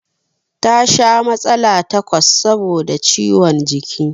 Ta sha matsala takwas saboda ciwon jiki